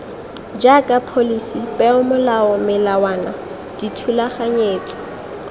jaaka pholisi peomolao melawana dithulaganyetso